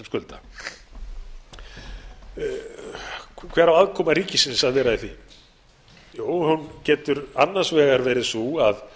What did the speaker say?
sem skulda hver á aðkoma ríkisins að vera í því jú hún getur annars vegar verið sú að